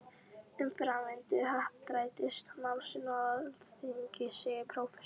Um framvindu happdrættis-málsins á Alþingi segir prófessor